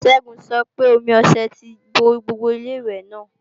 Ṣẹ́gun sọ pé omi ọṣẹ ti bo gbogbo Ilé-ìwẹ̀ náà